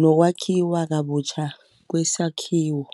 nokwakhiwa kabutjha kwesakhiwo.